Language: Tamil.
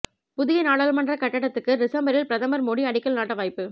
புதிய நாடாளுமன்ற கட்டடத்துக்கு டிசம்பரில் பிரதமா் மோடி அடிக்கல் நாட்ட வாய்ப்பு